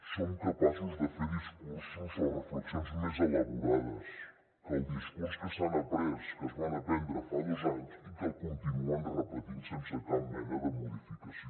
som capaços de fer discursos o reflexions més elaborades que el discurs que s’han après que es van aprendre fa dos anys i que el continuen repetint sense cap mena de modificació